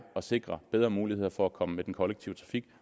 at sikre bedre muligheder for at komme med den kollektive trafik